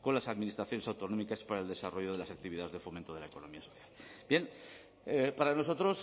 con las administraciones autonómicas para el desarrollo de las actividades de fomento de la economía social bien para nosotros